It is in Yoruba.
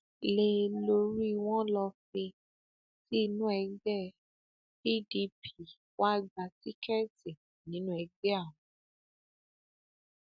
lé e lórí wọn lọ fee tí inú ẹgbẹ pdp wàá gba tíkẹẹtì nínú ẹgbẹ àwọn